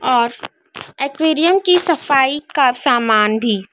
आज एक्वेरियम की सफाई का सामान भी--